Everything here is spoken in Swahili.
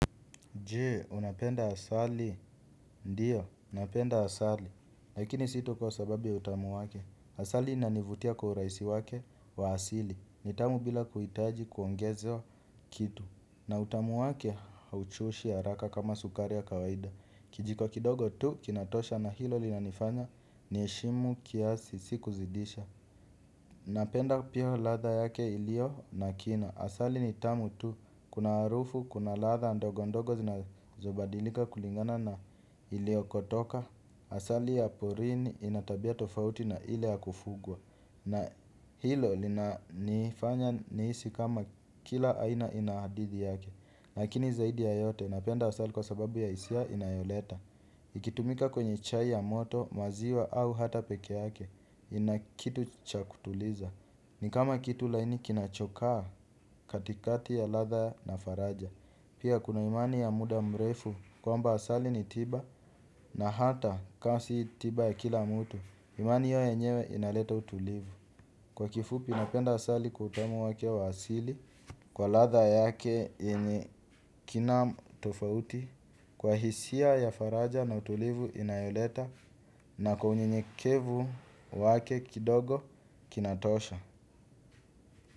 Je, unapenda asali. Ndiyo, unapenda asali. Lakini sito kwa sababi ya utamu wake. Asali inanivutia kwa urahisi wake wa asili. Ni tamu bila kuhitaji kuongezewa kitu. Na utamu wake hauchoshi haraka kama sukari ya kawaida. Kijiko kidogo tu kinatosha na hilo linanifanya niheshimu kiasi si ku zidisha. Napenda pia ladha yake ilio na kina asali ni tamu tu kuna harufu kuna ladha ndogo ndogo zinazobadilika kulingana na iliokotoka. Asali ya porini ina tabia tofauti na ile ya kufugwa na hilo linanifanya nihisi kama kila aina ina hadithi yake lakini zaidi ya yote napenda asali kwa sababu ya hisia inayoleta. Ikitumika kwenye chai ya moto maziwa au hata pekee yake ina kitu cha kutuliza. Ni kama kitu laini kinachokaa katikati ya ladha na faraja. Pia kuna imani ya muda mrefu kwamba asali ni tiba na hata ka si tiba ya kila mtu. Imani hiyo yenyewe inaleta utulivu. Kwa kifupi napenda asali kwa utamu wake wa asili kwa ladha yake yenye kina tofauti kwa hisia ya faraja na utulivu inayoleta na kwa unyenyekevu wake kidogo kinatosha.